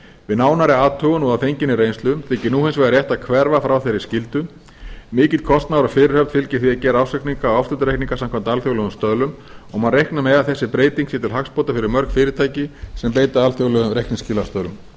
við nánari athugun og að fenginni reynslu þykir hins vegar nú rétt að hverfa frá þeirri skyldu mikill kostnaður og fyrirhöfn fylgir því að gera ársreikninga samkvæmt alþjóðlegum stöðlum og má reikna með að þessi breyting sé til hagsbóta fyrir mörg fyrirtæki sem beita alþjóðlegum reikningskilastöðlum